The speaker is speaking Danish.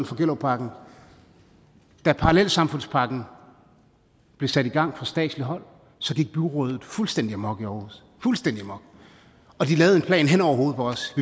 for gellerupparken da parallelsamfundspakken blev sat i gang fra statsligt hold gik byrådet fuldstændig amok i aarhus fuldstændig amok og de lavede en plan hen over hovedet på os